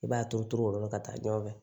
I b'a turu turu o yɔrɔ la ka taa ɲɔgɔn fɛ